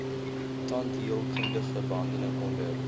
tandheelkundige behandeling onder